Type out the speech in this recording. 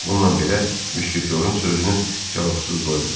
Bununla belə, Müşketyorun sözünü cavabsız qoymadı.